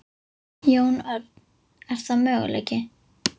Jón Örn: Er það möguleiki?